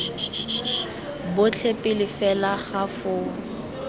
botlhe pele fela ga foo